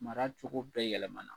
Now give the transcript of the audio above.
Mara cogo bɛɛ yɛlɛmana.